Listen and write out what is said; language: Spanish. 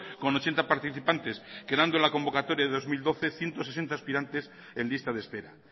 con ochenta participantes quedando la convocatoria de dos mil doce ciento sesenta aspirantes en lista de espera